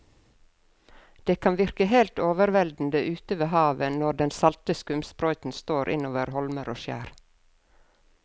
Det kan virke helt overveldende ute ved havet når den salte skumsprøyten slår innover holmer og skjær.